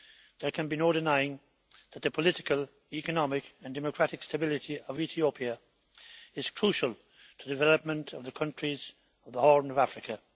There can be no denying that the political, economic and democratic stability of Ethiopia is crucial to the development of the countries of the Horn of Africa.